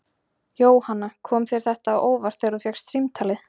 Jóhanna: Kom þér þetta á óvart þegar þú fékkst símtalið?